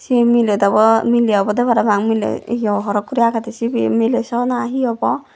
he miley dogo miley obodey parapang miley ye horot guri agedey sibey miley saw obo na he obo.